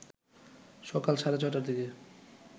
সকাল সাড়ে ৬টার দিকে